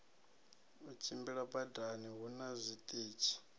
u tshimbila badani huna zwiṱitshi